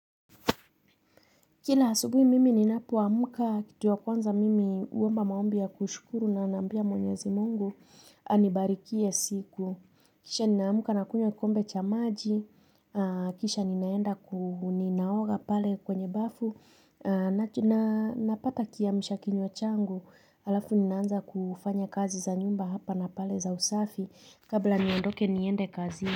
Kila asubuhi mimi ninapoamka kitu ya kwanza mimi huomba maombi ya kushukuru na naambia mwenyezi mungu, anibarikie siku. Kisha ninaamka nakunywa kikombe cha maji, kisha ninaenda, ninaoga pale kwenye bafu, na napata kiamsha kinywa changu, alafu ninaanza kufanya kazi za nyumba hapa na pale za usafi, kabla niondoke niende kazini.